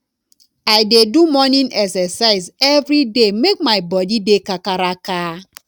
i dey do morning exercise every day make my body dey kakaraka